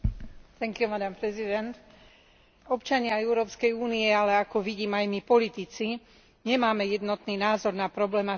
Občania Európskej únie, ale ako vidím, aj my politici, nemáme jednotný názor na problematiku geneticky manipulovaných potravín.